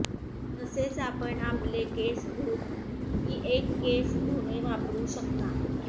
तसेच आपण आपले केस धूत की एक केस धुणे वापरू शकता